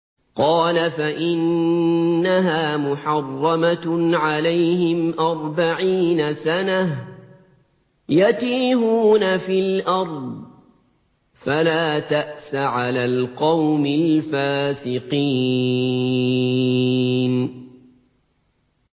قَالَ فَإِنَّهَا مُحَرَّمَةٌ عَلَيْهِمْ ۛ أَرْبَعِينَ سَنَةً ۛ يَتِيهُونَ فِي الْأَرْضِ ۚ فَلَا تَأْسَ عَلَى الْقَوْمِ الْفَاسِقِينَ